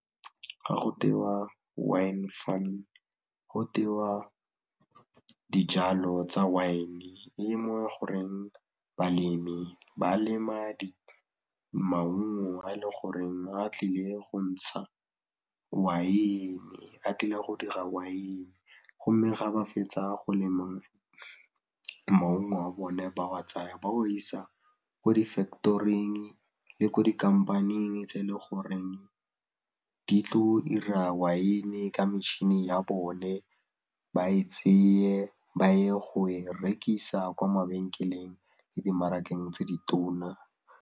Ga go tewa wine farming, go tewa dijalo tsa wine goreng balemi ba lema maungo a e leng goreng a tlile go ntsha waene, a tlile go dira waene go mme ga ba fetsa go lema maungo a bone ba wa tsaya ba wa isa ko di factory-ing le ko di kampaneng tse e leng goreng di tlile go dira waene ka metšhini ya bone ba e tseye ba ye go e rekisa kwa mabenkeleng le dimarakeng tse ditona.